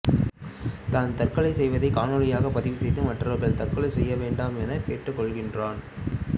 தான் தற்கொலை செய்வதை காணொளியாக பதிவு செய்து மற்றவர்களை தற்கொலை செய்ய வேண்டாம் எனக் கேட்டுக்கொள்கிறான்